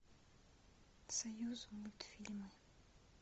союзмультфильмы